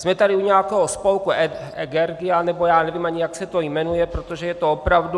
Jsme tady u nějakého spolku Egeria , nebo já nevím ani, jak se to jmenuje, protože je to opravdu...